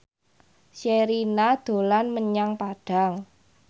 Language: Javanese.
Sherina dolan menyang Padang